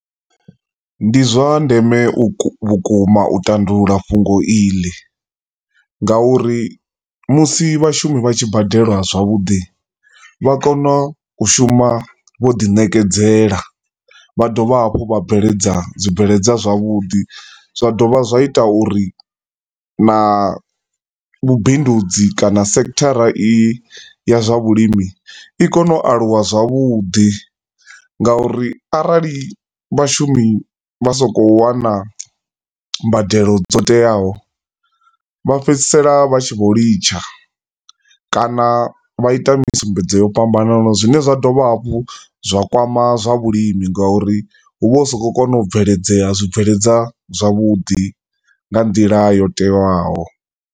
Ndi zwandeme vhukuma u tandulula fhungo iḽi, nga uri musi vhashumi vha tshi badeliwa zwavhuḓi vha kona u shuma vho ḓi nekedzela, vha dovha hafhu vha bveledza zwi bveledzwa zwa vhuḓi, zwa dovha zwi ita uri na vhubindudzi kana sekhithara i ya zwa vhulimi i kone u aluwa zwavhuḓi nga uri arali vhashumi vha sa khou wana mbadelo dzo teaho vha fhedzisela vha tshi vho litsha, kana vha ita misumbedzo ya fhambanaho, zwine zwi dovha hafho zwa kwama zwa vhulimi nga uri huvho hu si khou kona u bveledzea zwibveledzo zwavhuḓi nga nḓila yo teaho